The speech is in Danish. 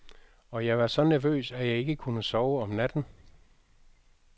Og jeg var så nervøs, at jeg ikke kunne sove om natten.